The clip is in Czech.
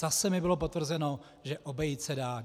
Zase mi bylo potvrzeno, že obejít se dá.